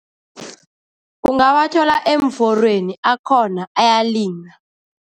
Ungawathola eemforweni, akhona, ayalinywa.